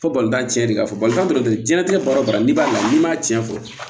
Fo balontan tiɲɛnni de b'a fɔ balita dɔ bɛ yen diɲɛlatigɛ baara o baara n'i b'a la n'i m'a tiɲɛ fɔ